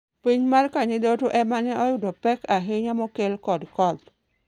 Piny mar Kanyidoto e ma ne oyudo pek ahinya mokel kod koth.